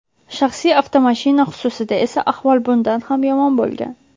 Shaxsiy avtomashina xususida esa ahvol bundan ham yomon bo‘lgan.